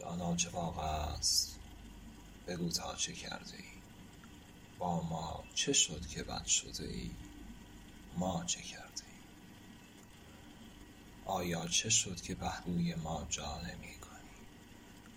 جانا چه واقعست بگو تا چه کرده ایم با ما چه شد که بد شده ای ما چه کرده ایم آیا چه شد که پهلوی ما جا نمی کنی